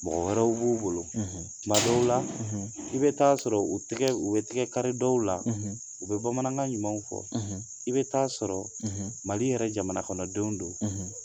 Mɔgɔ wɛrɛw b'u bolo , tuma dɔw la , i bi t'a sɔrɔ tigɛ u bɛ tigɛ kari dɔw la , u bɛ bamanankan ɲumanw fɔ , i bɛ t'a sɔrɔ , Mali yɛrɛ jamana kɔnɔ denw don